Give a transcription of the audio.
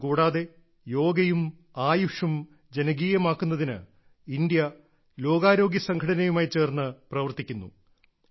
ഇതുകൂടാതെ യോഗയും ആയുഷും ജനകീയമാക്കുന്നതിന് ഇന്ത്യ ലോകാരോഗ്യ സംഘടനയുമായി ചേർന്ന് പ്രവർത്തിക്കുന്നു